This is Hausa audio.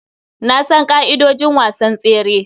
Na san ƙa'idojin wasan tsere.